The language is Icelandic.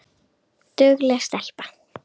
Dugleg stelpa